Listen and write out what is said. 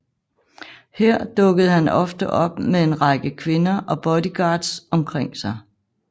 Her dukkede han ofte op med en rækker kvinder og bodyguards omkring sig